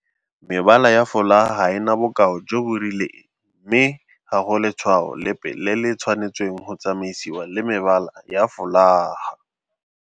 Mebala ya folaga ga e na bokao jo bo rileng mme ga go le tshwao lepe le le tshwanetseng go tsamaisiwa le mebala ya folaga.